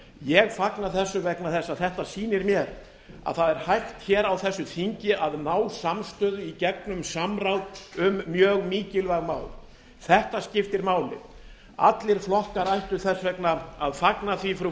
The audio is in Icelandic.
ég fagna þessu vegna þess að þetta sýnir mér að það er hægt á þessu þingi að ná samstöðu í gegnum samráð um mjög mikilvæg mál þetta skiptir máli allir flokkar ættu þess vegna að fagna því frú